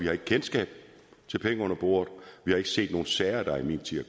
har kendskab til penge under bordet vi har ikke set nogen sager der i min tid